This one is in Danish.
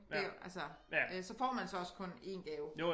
Det år altså øh så får man så også kun én gave